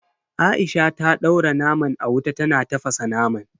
Aisha ta daura naman a wuta tana tafasa naman.